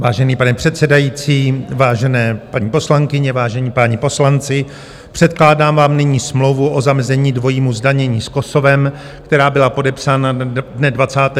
Vážený pane předsedající, vážené paní poslankyně, vážení páni poslanci, předkládám vám nyní smlouvu o zamezení dvojímu zdanění s Kosovem, která byla podepsána dne 26. listopadu 2013 v Prištině.